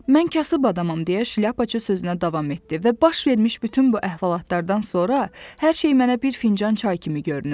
Mən kasıb adamam deyə Şlyapaçı sözünə davam etdi və baş vermiş bütün bu əhvalatlardan sonra hər şey mənə bir fincan çay kimi görünür.